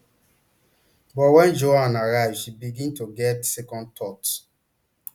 but wen joanne arrive she begin to get second thoughts